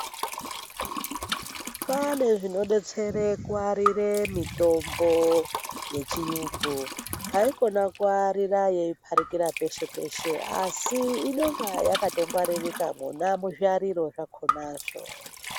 Kwane zvinodetsere kuwarire mitombo yechiyungu, haikona kuyarira yeipfarikira peshe peshe, asi inonga yakatongwaririka mona muzviyariro zvakona.